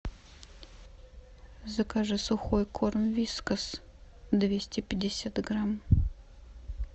закажи сухой корм вискас двести пятьдесят грамм